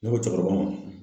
Ne ko cɛkɔrɔba ma.